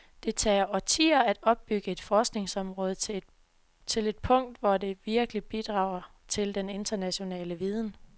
Det tager årtier at opbygge et forskningsområde til et punkt, hvor det virkelig bidrager til den internationale viden.